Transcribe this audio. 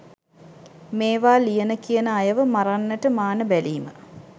මේවා ලියන කියන අයව මරන්නට මාන බැලීම